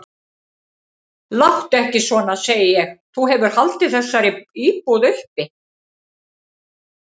Láttu ekki svona, segi ég, þú hefur haldið þessari búð uppi.